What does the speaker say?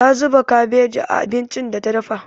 Ta zuba kabeji a abincin da ta dafa.